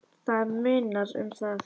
Það munar um það.